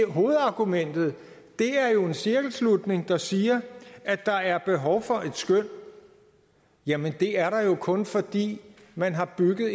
hovedargumentet er en cirkelslutning der siger at der er behov for et skøn jamen det er der jo kun fordi man har bygget